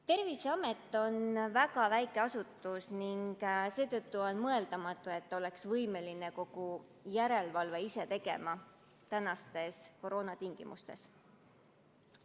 Terviseamet on väga väike asutus ning seetõttu on mõeldamatu, et ta oleks võimeline tänastes koroonatingimustes kogu järelevalvet ise tegema.